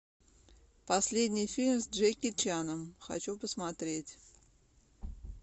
последний фильм с джеки чаном хочу посмотреть